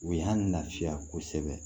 U y'an lafiya kosɛbɛ